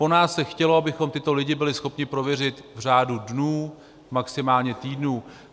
Po nás se chtělo, abychom tyto lidi byli schopni prověřit v řádu dnů, maximálně týdnů.